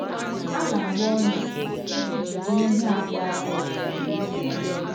A na - agba ọnyà iji jide ihe a gbaara ya.